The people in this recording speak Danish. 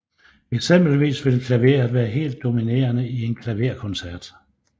Eksempelvis vil klaveret være helt dominerende i en klaverkoncert